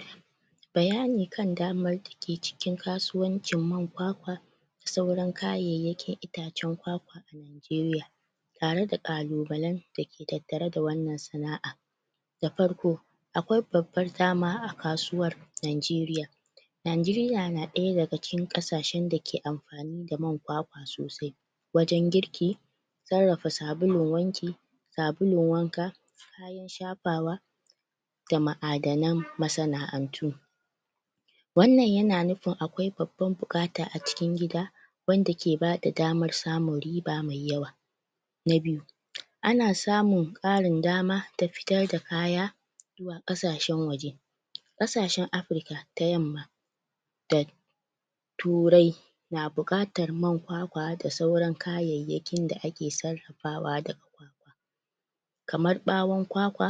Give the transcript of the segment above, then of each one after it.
Um Bayani kan damar da ke cikin kasuwancin man kwakwa da sauran kayayyakin itacen kwakwa a nageriya tare da kalubalen da ke tattare da wannan sana'a da farko akwai babbar dama a kasuwar nageriya nageriya na daya daga cikin kasashen da ke amf amfanin kwakwa sosai wajen girki sarrafa sabulun wanki sabulun wanka man shafawa ma'adanan masana'antu wannan yana nufin akwai babbamn bukata acikin gida wanda kebada daman samun girba me yawa na biyu ana samun karin dama ta fitar da kaya zuwa kasashen waje kasashen africa ta yamma da turai na bukatan man kwakwa da sauran kayayyakin da ake sarrafawa daga kwakwa kamar bawon kwakwa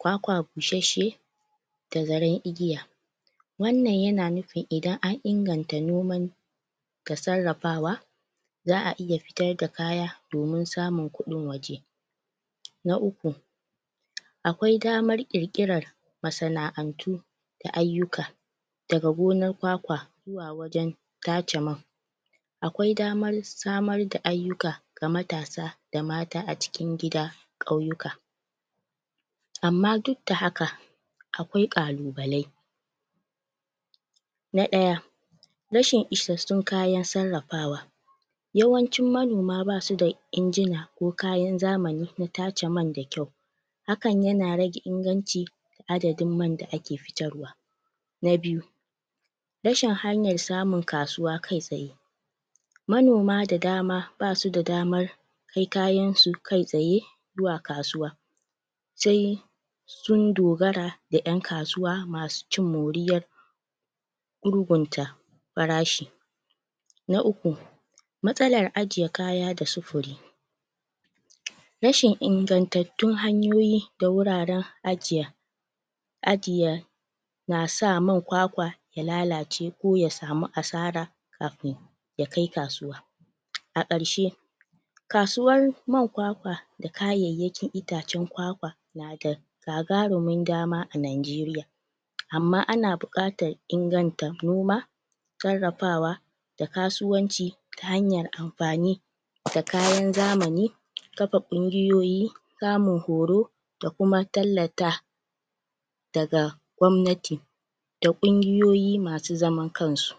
kwakwa busashshe da zaren igiya wannan yana nufin idan an inganta noman da sarrafawa za'aiya futar da kaya domin samun kudin waje na uku akwai damar kirkiran masana'antu da ayyuka daga gonar kwakwa zuwa wajen tace man akwai damar samar da ayyuka da matasa da mata acikin gida da kauyuka amma duk da haka akwai kalubalai na daya rashin isashshun kayan sarrafawa yawancin manoma basu da injina ko kayan zamani da tace man da kyau hakan yana rage inganci adadin man da ake fitarwa na biyu rashin samun hanya kasuwa kai tsaye manoma da dama basu da damar kai kayansu kai tsaye zuwa kasuwa sai sunn dogara da yankasuwa masu cin moriyar gurgunta farashi na uku matsalar ajiye kaya da sufuri rashin ingantattun hanyoyi da wuraren ajiya ajiye nasa man kwakwa ya lalace ko ya samu asara kafin ya kai kasuwa a karshe kasuwan man kwakwa da kayayyakin itacen kwakwa na da gagarumin dama a nageriya amma ana bukatan inganta noma sarrafawa da kasuwanci ta hanyar amfani da kayan zamani kafa kungiyoyi samun horto da kuma tallata daga gwabnati da kungiyoyi masu zaman kansu